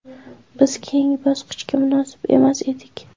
Biz keyingi bosqichga munosib emas edik.